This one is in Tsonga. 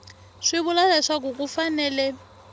swi vula leswaku ku fanele